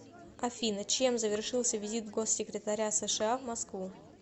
афина чем завершился визит госсекретаря сша в москву